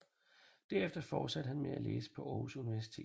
Derefter fortsatte han med at læse på Aarhus Universitet